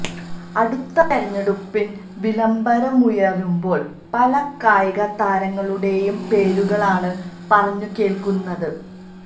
അടുത്ത തെരഞ്ഞെടുപ്പിന് വിളംബരമുയരുമ്പോൾ പല കായിക താരങ്ങളുടെയും പേരുകളാണ് പറഞ്ഞു കേൾക്കുന്നത്